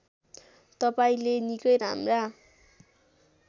तपाईँंले निकै राम्रा